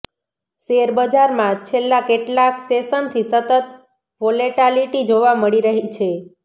શેરબજારમાં છેલ્લાં કેટલાંક સેશનથી સતત વોલેટાલિટી જોવા મળી રહી છે